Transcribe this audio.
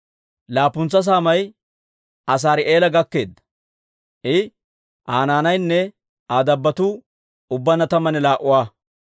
Laappuntsa saamay Asaari'eela gakkeedda; I, Aa naanaynne Aa dabbotuu ubbaanna tammanne laa"a.